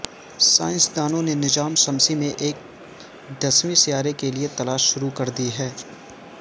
سائنسدانوں نے نظام شمسی میں ایک دسویں سیارے کے لئے تلاش شروع کر دی ہے